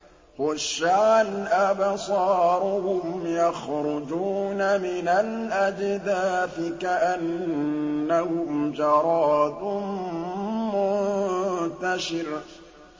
خُشَّعًا أَبْصَارُهُمْ يَخْرُجُونَ مِنَ الْأَجْدَاثِ كَأَنَّهُمْ جَرَادٌ مُّنتَشِرٌ